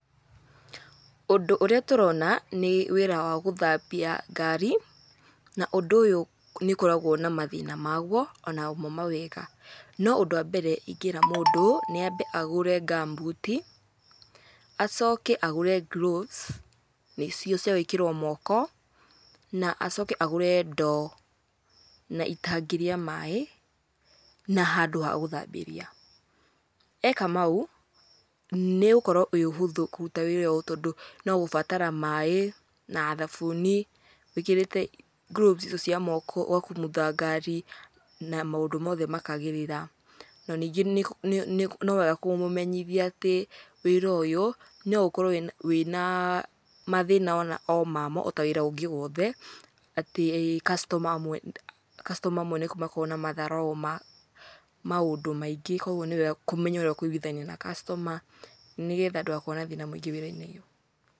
Ũndũ ũrĩa tũrona nĩ wĩra wa gĩthambia ngari, na ũndũ ũyũ nĩũkoragwo na mathĩna maguo onamo mawega. No ũndũ wa mbere ingĩra mũndũ nĩambe agũre gumboot i acoke agũre gloves nĩcio cia gũĩkĩrwo moko, na acoke agũre ndoo na itangi rĩa maĩ na handũ ha gũthambĩria. Eka mau, nĩũgũkorwo wĩ ũhũthũ kũruta wĩra ũyũ tondũ no gũbatara maĩ, na thabuni wĩkĩrĩte gloves icio cia moko, ũgakumutha ngari na maũndũ mothe makagĩrĩra. Na ningĩ nĩwega kũmũmenyithia atĩ wĩra ũyũ, no ũkorwo wĩna mathĩna mamo ota wĩra ũngĩ wothe, atĩ customer amwe customer amwe nĩmakoragwo na matharaũ ma maũndũ maingĩ kuoguo nĩwega kũmenya ũrĩa ũkũiguithania na customer nĩgetha ndũgakorwo na thĩna mũingĩ wĩra-inĩ.